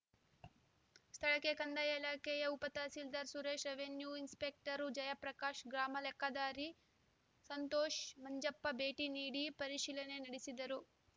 ಸ್ಥಳಕ್ಕೆ ಕಂದಾಯ ಇಲಾಖೆಯ ಉಪತಹಸೀಲ್ದಾರ್‌ Suresh revenue inspector Jayaprakash ಗ್ರಾಮಾಲೆಕ್ಕಾದಾರಿ ಸಂತೋಷ್‌ ಮಂಜಪ್ಪ ಭೇಟಿ ನೀಡಿ ಪರಿಶೀಲನೆ ನಡೆಸಿದರು